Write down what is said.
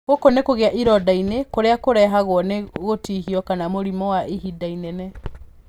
Gũkũ nĩ kũgĩa ironda ini-inĩ kũrĩa kũrehagwo nĩ gũtihio kana mũrimũ wa ihinda inene.